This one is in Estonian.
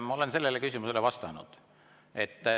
Ma olen sellele küsimusele vastanud.